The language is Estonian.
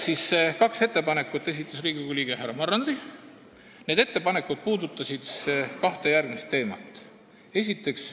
Kaks ettepanekut esitas Riigikogu liige härra Marrandi, need puudutasid kahte teemat.